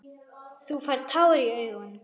Þú færð tár í augun.